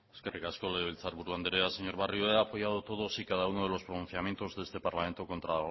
eskerrik asko legebiltzarburu andrea señor barrio he apoyado todos y cada uno de los pronunciamientos de este parlamento contra